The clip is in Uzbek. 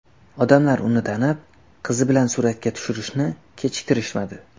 Odamlar uni tanib, qizi bilan suratga tushirishni kechiktirishmadi.